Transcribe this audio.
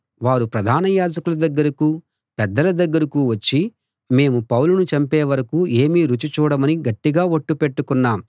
వారు ప్రధాన యాజకుల దగ్గరకూ పెద్దల దగ్గరకూ వచ్చి మేము పౌలును చంపేవరకూ ఏమీ రుచి చూడమని గట్టిగా ఒట్టు పెట్టుకొన్నాం